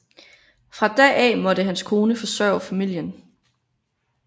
Fra da af måtte hans kone forsørge familien